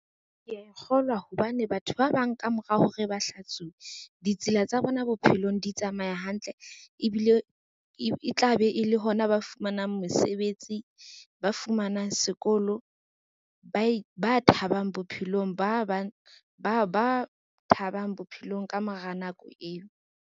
Kea kgolwa hobane batho ba bang ka mora hore ba hlatsuwe, ditsela tsa bona bophelong di tsamaya hantle ebile e tla be e le hona ba fumanang mosebetsi, ba fumanang sekolo, ba thabang bophelong ka mora nako eo.